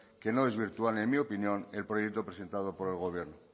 que no desvirtúan en mi opinión el proyecto presentado por el gobierno